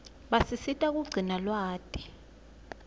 basisita kugcina lwati